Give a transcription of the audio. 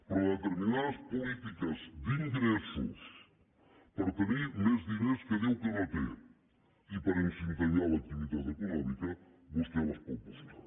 però determinades polítiques d’ingressos per tenir més diners que diu que no té i per incentivar l’activitat econòmica vostè les pot buscar